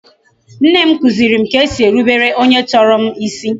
Nne m kuziri m ka e si erubere onye tọrọ m isi